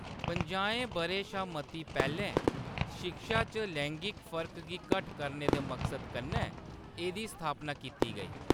पंजाहें बʼरें शा मती पैह्‌‌‌लें शिक्षा च लैंगिक फर्क गी घट्ट करने दे मकसद कन्नै एह्‌‌‌दी स्थापना कीती गेई।